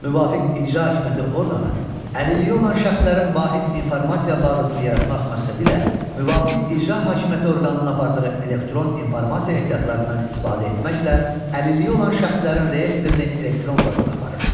Müvafiq icra hakimiyyəti orqanı əlilliyi olan şəxslərin vahid informasiya bazasını yaratmaq məqsədilə müvafiq icra hakimiyyəti orqanı apardığı elektron informasiya ehtiyatlarından istifadə etməklə əlilliyi olan şəxslərin reyestrini elektron formada aparır.